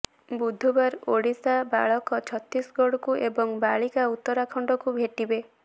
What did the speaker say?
ବୁଧବାର ଓଡ଼ିଶା ବାଳକ ଛତିଶଗଡ଼କୁ ଏବଂ ବାଳିକା ଉତ୍ତରାଖଣ୍ଡକୁ ଭେଟିବେ